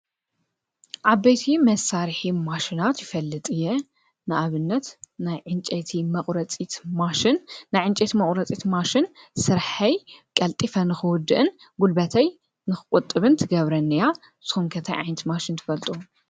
ዓበይቲ መሳርሒ ማሽናት ይፈልጥ እየ፡፡ ንኣብነት ናይ ዕንጨቲ መቝረፂት ማሽን፡፡ ናይ ዕንጨቲ መቝረፂት ማሽን ስርሐይ ቀልጢፈ ንኽወድእን ጕልበተይ ንኽቊጥብን ትገብረኒ እያ፡፡ ንስኹም ከ ታይ ዓይነት ማሽን ትፈልጡ?